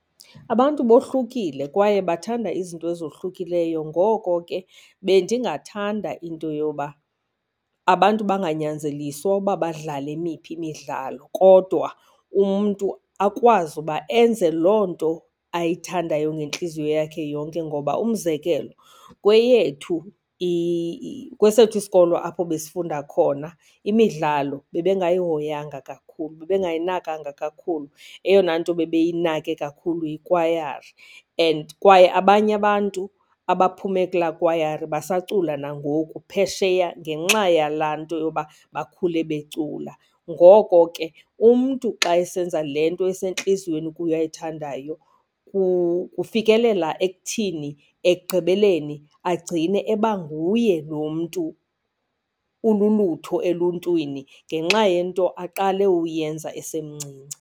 Abantu bohlukile kwaye bathanda izinto ezohlukileyo, ngoko ke bendingathanda into yoba abantu banganyanzeliswa uba badlale emiphi imidlalo. Kodwa umntu akwazi uba enze loo nto ayithandayo ngentliziyo yakhe yonke ngoba umzekelo, kweyethu kwesethu isikolo apho besifunda khona imidlalo bebengayihoyanga kakhulu, bebengayinakanga kakhulu. Eyona nto bebeyinake kakhulu yikwayari and kwaye abanye abantu abaphume kulaa kwayari basaculayo nangoku phesheya ngenxa yalaa nto yoba bakhule becula. Ngoko ke umntu xa esenza le nto esentliziyweni ukuye ayithandayo kufikelela ekuthini ekugqibeleni agcine eba nguye lo mntu ululutho eluntwini ngenxa yento aqale uyenza esemncinci.